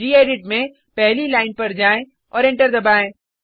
gedit में पहली line पर जाएँ और एंटर दबाएँ